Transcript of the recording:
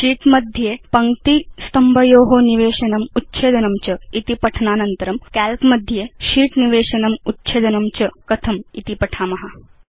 शीत् मध्ये अनेका पङ्क्तय स्तम्भा च कथं निवेशनीया उच्छेत्तव्या च इति पठनानन्तरं वयम् अधुना काल्क मध्ये शीट्स् कथं निवेशनीयानि उच्छेत्तव्यानि च इति पठिष्याम